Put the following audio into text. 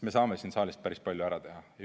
Me saame siin saalis päris palju ära teha.